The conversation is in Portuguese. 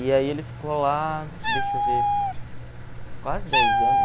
E aí ele ficou lá, deixa eu ver, quase dez anos.